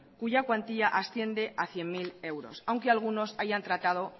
cuya cuantía asciende a cien mil euros aunque algunos hayan tratado